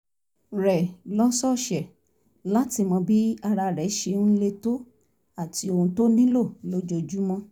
rẹ̀ lọ́sọ̀ọ̀sẹ̀ láti mọ bí ara rẹ̀ ṣe ń le tó àti ohun tó nílò lójoojúmọ́